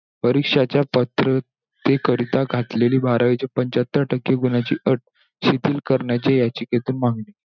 परीक्षांच्या पात्रते करिता गाठलेली बारावीच्या पंच्याहत्तर टक्के गुणांची अट शिथिल करण्याची याचिकेतून मागणी.